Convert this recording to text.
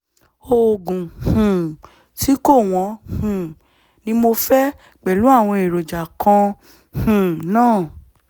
oògùn um tí kò wọ́n um ni mo fẹ́ pẹ̀lú àwọn èròjà kan um náà